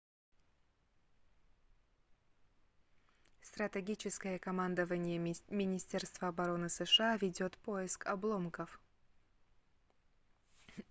стратегическое командование министерства обороны сша ведёт поиск обломков